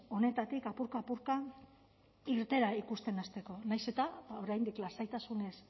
honetatik apurka apurka irteera ikusten hasteko nahiz eta oraindik lasaitasunez